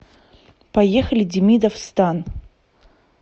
поехали демидов стан